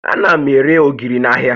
Ana m ere ogiri n'ahịa